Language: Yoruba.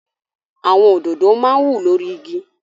Àwọn òdòdó máa ń wù lórí igi.